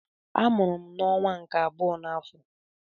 Amụrụ m n'ọnwa nke abụọ n'afọ.